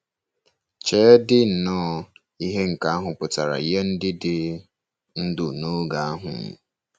Cheedị nnọọ ihe nke ahụ pụtara nye ndị dị ndụ n'oge ahụ!